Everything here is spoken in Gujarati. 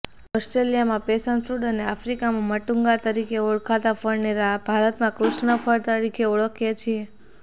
ઓસ્ટ્રેલિયામાં પેશન ફ્રૂટ અને આફ્રિકામાં મટૂંગા તરીકે ઓળખાતા ફળને ભારતમાં કૃષ્ણ ફળ તરીકે ઓળખીએ છીએ